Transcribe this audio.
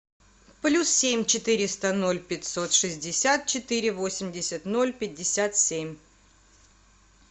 плюс семь четыреста ноль пятьсот шестьдесят четыре восемьдесят ноль пятьдесят семь